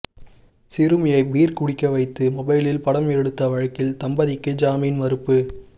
சிறுமியை பீர் குடிக்கவைத்து மொபைலில் படம் எடுத்த வழக்கில் தம்பதிக்கு ஜாமீன் மறுப்பு